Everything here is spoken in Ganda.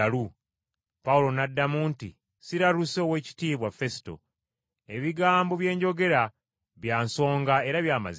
Pawulo n’addamu nti, “Siraluse, Oweekitiibwa Fesuto. Ebigambo bye njogera bya nsonga era bya mazima.